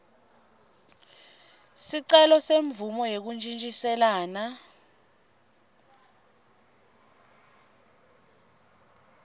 sicelo semvumo yekuntjintjiselana